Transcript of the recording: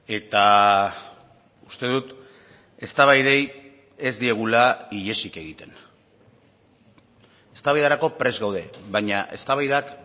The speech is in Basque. eta uste dut eztabaidei ez diegula ihesik egiten eztabaidarako prest gaude baina eztabaidak